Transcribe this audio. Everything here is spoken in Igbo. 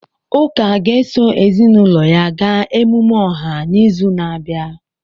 Uka ga-eso ezinụlọ ya gaa emume ọha n'izu na-abịa.